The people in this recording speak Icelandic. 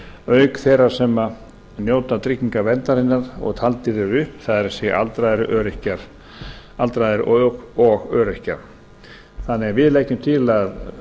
auk þeirra sem njóta tryggingaverndarinnar og taldir eru upp það er aldraðra og öryrkja þannig að við leggjum til að